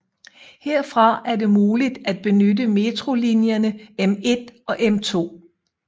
Herfra er det muligt at benytte metrolinjerne M1 og M2